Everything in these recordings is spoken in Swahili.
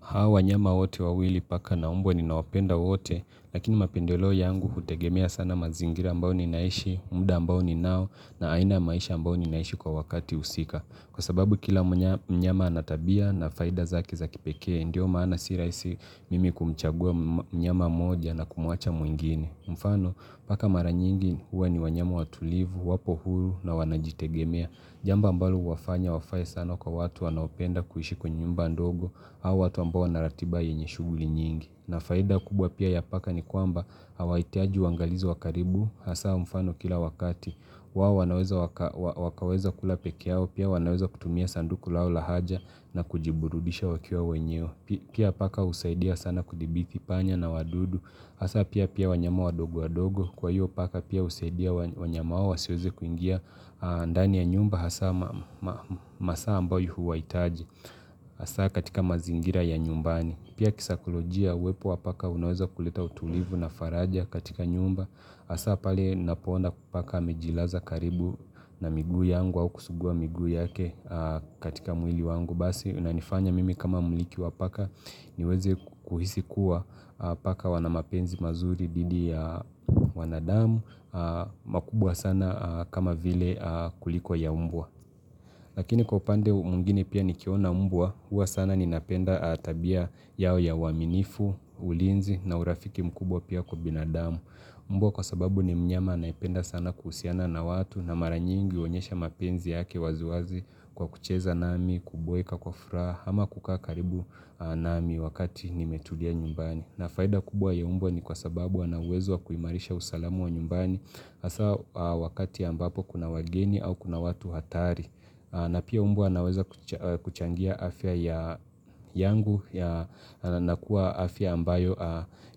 Hawa wanyama wote wawili paka na mbwa ninawapenda wote, lakini mapendeleo yangu hutegemea sana mazingira ambao ninaishi, muda ambao ninao na aina ya maisha ambao ninaishi kwa wakati husika. Kwa sababu kila mnyama anatabia na faida zake za kipekee, ndio maana si rahisi mimi kumchagua mnyama mmoja na kumuacha mwingine. Mfano, paka maranyingi huwa ni wanyama watulivu, wapo huru na wanajitegemea. Jambo ambalo huwafanya wafae sana kwa watu wanaopenda kuishi kwa nyumba ndogo au watu ambao wanaratiba yenye shuguli nyingi na faida kubwa pia ya paka ni kwamba Hawa itiaji wangalizi wa karibu Hasa mfano kila wakati wao wanaweza wakaweza kula peke yao Pia wanaweza kutumia sanduku lao la haja na kujiburudisha wakiwa wenyewe Pia paka husaidia sana kudhibiti panya na wadudu Hasa pia pia wanyama wadogo wadogo Kwa hiyo paka pia usaidia wanyama hao wasiweze kuingia ndani ya nyumba hasa masaa ambayo huwaitaji Hasa katika mazingira ya nyumbani Pia kisaikolojia uwepo wa paka unaweza kuleta utulivu na faraja katika nyumba Hasa pale napoona paka amejilaza karibu na miguu yangu au kusugua miguu yake katika mwili wangu Basi unanifanya mimi kama mliki wa paka niweze kuhisi kuwa paka wana mapenzi mazuri dhidi ya wanadamu makubwa sana kama vile kuliko ya mbwa Lakini kwa upande mwingine pia nikiona mbwa Huwa sana ninapenda tabia yao ya uwaminifu, ulinzi na urafiki mkubwa pia kwa binadamu mbwa kwa sababu ni mnyama anayependa sana kuhusiana na watu na maranyingi huonyesha mapenzi yake waziwazi kwa kucheza nami, kuboeka kwa furaha ama kukaa karibu nami wakati nimetulia nyumbani na faida kubwa ya mbwa ni kwa sababu wana uwezo wa kuimarisha usalamu wa nyumbani hasa wakati ambapo kuna wageni au kuna watu hatari na pia mbwa naweza kuchangia afya yangu na kuwa afya ambayo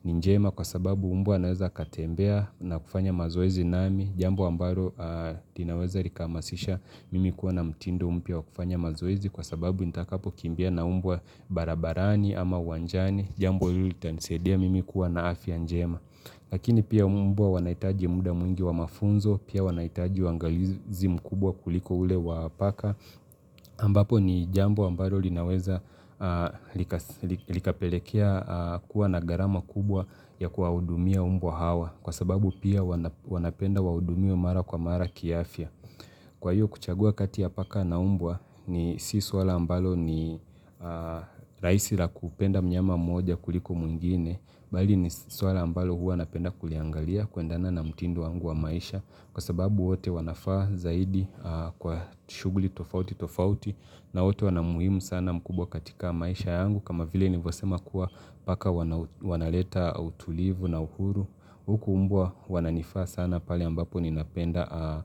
ni njema kwa sababu mbwa anaweza katembea na kufanya mazoezi nami Jambo ambalo l inaweza likahamasisha mimi kuwa na mtindo mpya wa kufanya mazoezi Kwa sababu nitakapo kimbia na mbwa barabarani ama uwanjani Jambo hili tanisaidia mimi kuwa na afya njema Lakini pia mbwa wanaitaji muda mwingi wa mafunzo, pia wanaitaji uwangalizi mkubwa kuliko ule wa paka, ambapo ni jambo ambalo linaweza likapelekea kuwa na garama kubwa ya kuwahudumia mbwa hawa, kwa sababu pia wanapenda waudumiwe mara kwa mara kiafya. Kwa hiyo kuchagua kati ya paka na mbwa ni si swala ambalo ni rahisi la kupenda mnyama mmoja kuliko mwingine, bali ni swala ambalo huwa napenda kuliangalia kuendana na mtindo wangu wa maisha kwa sababu wote wanafaa zaidi kwa shuguli tofauti tofauti na wote wana umuhimu sana mkubwa katika maisha yangu kama vile nilivyo sema kuwa paka wanaleta utulivu na uhuru. Huku mbwa wananifaa sana pale ambapo ninapenda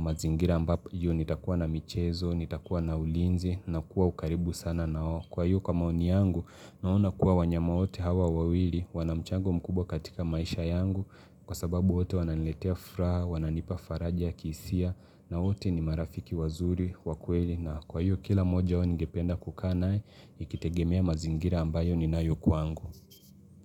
mazingira ambapo iyo nitakuwa na michezo, nitakuwa na ulinzi, nakuwa ukaribu sana nao. Kwa hiyo kwa maoni yangu, naona kuwa wanyama wote hawa wawili, wana mchango mkubwa katika maisha yangu, kwa sababu wote wananiletea furaha, wananipa faraja, ya kihisia, na wote ni marafiki wazuri, wa kweli. Na kwa hiyo kila moja wao ningependa kukaa nae, ikitegemea mazingira ambayo ninayo kwangu.